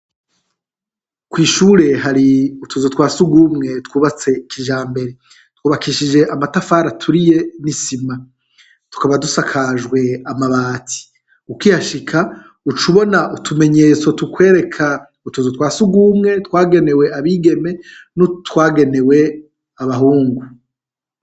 Ku ishure hari utuzu twa sugumwe twubatse kijambere, twubakishije amatafari aturiye n'isima tukaba dusakajwe amabati. ukihashika uca ubona utumenyetso tukwereka utuzu twa sugumwe twagenewe abigeme n'utwagenewe abahungu.